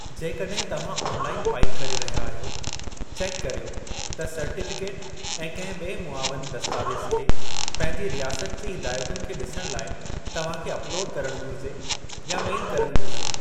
जेकॾहिं तव्हां online file करे रहिया आहियो, चेकु करियो त सर्टीफ़िकेट ऐं कंहिं ॿिऐ मुआविनु दस्तावेज़ खे पंहिंजी रियासत जी हिदायतुनि खे ॾिसणु लाई तव्हां खे अपलोड करणु घुरिजे या मेल करणु घुरिजे ।